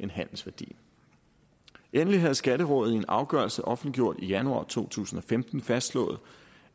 end handelsværdien endelig havde skatterådet i en afgørelse offentliggjort i januar to tusind og femten fastslået